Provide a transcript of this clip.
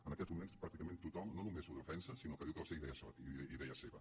en aquests moments pràcticament tothom no només ho defensa sinó que diu que va ser idea seva